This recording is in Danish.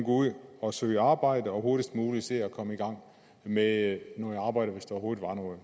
ud og søge arbejde og hurtigst muligt se at komme i gang med at arbejde hvis der overhovedet